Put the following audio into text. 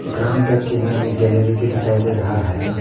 Ground का किनारे में गैलरी भी दिखाई दे रहा है।